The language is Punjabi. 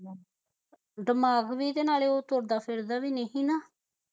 ਦਿਮਾਗ ਵੀ ਨਾਲੇ ਉਹ ਤੁਰਦਾ ਫਿਰਦਾ ਵੀ ਨਹੀ ਨਾ